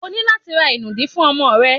O ní láti ra ìnùdí fún ọmọ rẹ.